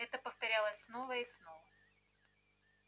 это повторялось снова и снова